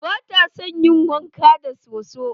Bata son ƴin wanka da soso.